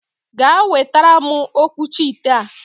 Gaa wetara m okwuchi ite a!